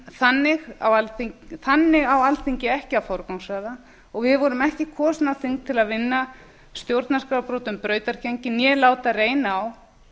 þannig á alþingi ekki að forgangsraða og við vorum ekki kosin á þing til að vinna stjórnarskrárbrotum brautargengi né láta reyna á